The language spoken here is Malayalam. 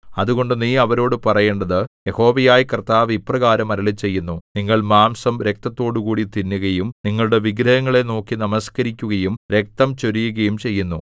അതുകൊണ്ട് നീ അവരോടു പറയേണ്ടത് യഹോവയായ കർത്താവ് ഇപ്രകാരം അരുളിച്ചെയ്യുന്നു നിങ്ങൾ മാംസം രക്തത്തോടുകൂടി തിന്നുകയും നിങ്ങളുടെ വിഗ്രഹങ്ങളെ നോക്കി നമസ്കരിക്കുകയും രക്തം ചൊരിയുകയും ചെയ്യുന്നു